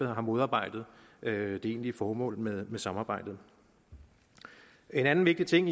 har modarbejdet det egentlige formål med samarbejdet en anden vigtig ting